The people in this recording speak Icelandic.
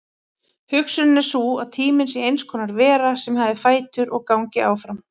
Hugsunin er sú að tíminn sé eins konar vera sem hafi fætur og gangi áfram.